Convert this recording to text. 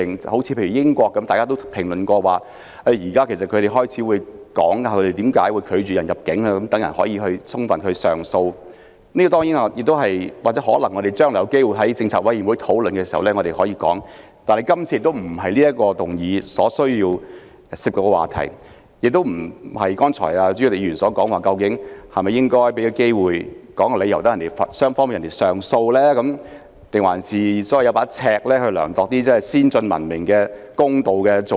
正如大家亦曾談及英國現時會說明因何拒絕某人入境，讓人可以提出上訴，這些我們將來有機會或許可以在政策委員會上討論，但這並非今次議案所涉及的話題，亦非代理主席李議員剛才所說，是否應該給予申請人機會，說出理由，讓他能上訴？還是應否有一把尺，量度先進、文明和公道的做法？